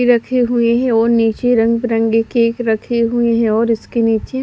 रखे हुए है और नीचे रंगबिरंगी केक रखे हुए है और इसके नीचे--